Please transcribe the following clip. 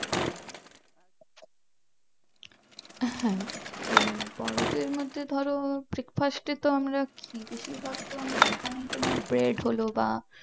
হ্যাঁ তো বোড়োদের মধ্যে তো ধরো breakfast এ তো আমরা কি বেশিরভাগ তো আমরা এখানে তোমার bread হলো বা